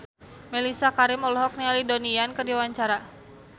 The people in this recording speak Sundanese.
Mellisa Karim olohok ningali Donnie Yan keur diwawancara